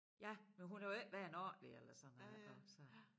Ja men hun har jo ikke været ordentlig eller sådan noget ik og så